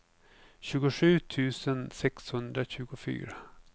tjugosju tusen sexhundratjugofyra